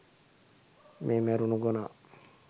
මේ මැරුණු ගොනා